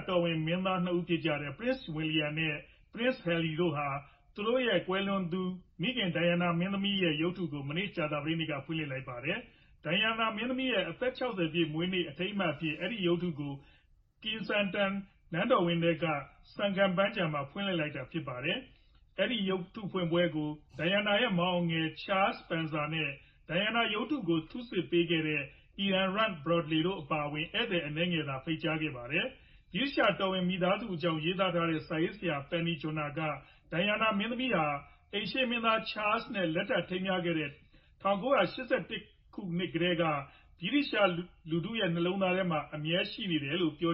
တော်ဝင် မင်းသား ၂ ပါးဖြစ်ကြတဲ့ Prince William နဲ့ Prince Harry တို့က သူတို့ရဲ့ ကွယ်လွန်သူ မိခင်ဒိုင်ယာနာ မင်းသမီးရဲ့ ရုပ်ထုကို မနေ့ကြာသပတေးနေ့က ဖွင့်လျှစ်လိုက်ပါတယ်။ ဒိုင်ယာနာမင်းသမီးရဲ့ အသက် ၆ဝပြည့်မွေးနေ့ အထိမ်းအမှတ်အဖြစ် အဲဒီရုပ်ထုကို Kensington နန်းတော်ဝန်ထဲက Sunken ပန်းခြံမှာ ဖွင့်လျှစ်လိုက်တာဖြစ်ပါတယ်။ အဲဒီဖွင့်ပွဲကို ဒိုင်ယာနာရဲ့ မောင်အငယ် Charles Spencer နဲ့ ဒိုင်ယာနာရုပ်ထုကို ထုတ်ဆစ်ပေးသူ Ian Rank-Broadley တို့အပါအဝင် ဧည့်သည်အနည်းငယ်သာ ဖိတ်ကြားခဲ့ပါတယ်။ ဗြိတိသျှတော်ဝင်မိသားစုတွေအကြောင်း ရေးသားတဲ့ စာရေးဆရာ Penny Junor က ဒိုင်ယာနာမင်းသမီးဟာ အိမ်ရှေ့မင်းသားချားလ် နဲ့ လက်ထပ်ထိမ်းမြားခဲ့တဲ့ ၁၉၈၁ ခုနှစ်ကတည်းက ဗြိတိန်လူထု့တွေရဲ့ နှလုံးသားမှာ အမြဲရှိနေပါတယ်လို့ပြေ